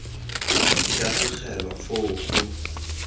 di ka tlogelwa foo go